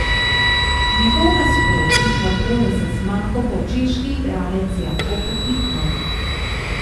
Njegov nasprotnik v boju za zmago bo češki igralec Jakub Bitman.